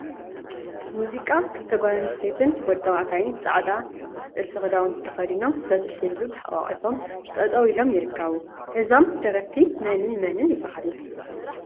ሙዚቃ ክልተ ጓል አንስተይቲን ወዲ ተባዕታይን ፃዕዳ ጥፍፊ ክዳውንቲ ተከዲኖም በትሪ ሒዙ ተሓቋቍፎም ጠጠወ ኢሎም ይርከቡ፡፡ እዞም ደረፍቲ መንን መንን ይበሃሉ?